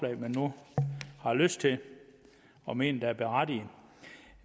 de nu har lyst til og mener er berettigede